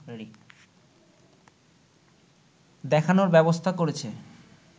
দেখানোর ব্যবস্থা করেছে